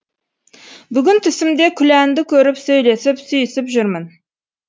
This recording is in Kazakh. бүгін түсімде күләнді көріп сөйлесіп сүйісіп жүрмін